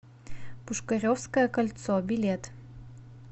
пушкаревское кольцо билет